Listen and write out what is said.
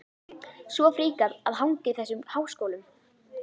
Svo fríkað að hanga í þessum háskólum!